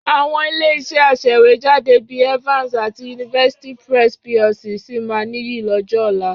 Àwọn ilé-iṣẹ́ aṣèwéjádé bí i Evans àti University Press PLC sì máa nìyí lọ́jọ́ ọ̀la.